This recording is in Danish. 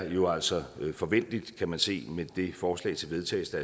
jo altså forventeligt kan man se med det forslag til vedtagelse